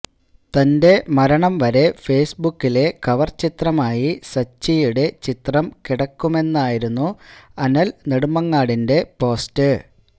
തന്റെ മരണം വരെ ഫെയ്സ്ബുക്കിലെ കവർ ചിത്രമായി സച്ചിയുടെ ചിത്രം കിടക്കുമെന്നായിരുന്നു അനിൽ നടുമങ്ങടിന്റെ പോസ്റ്റ്